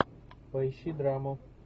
поищи драму